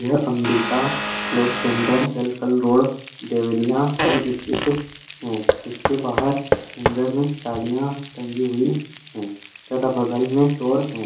यह Ambika cloth centre जलकल road Deoria में स्थित है। इसके बाहर हैंगर में साड़ियां टंगी हुई हैं तथा बगल में स्टोर है।